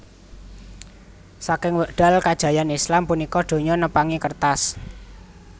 Saking wekdal kajayaan Islam punika donya nepangi kertas